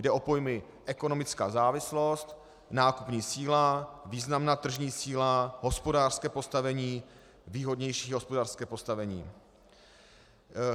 Jde o pojmy ekonomická závislost, nákupní síla, významná tržní síla, hospodářské postavení, výhodnější hospodářské postavení.